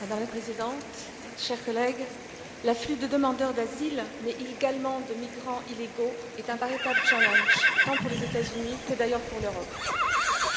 Madame la Présidente, chers collègues, l'afflux de demandeurs d'asile mais également de migrants illégaux est un véritable challenge, tant pour les États Unis que, d'ailleurs, pour l'Europe.